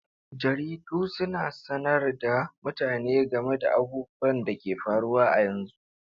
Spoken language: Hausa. Jaridu suna sanar da mutane game da abubuwan da ke faruwa a yanzu.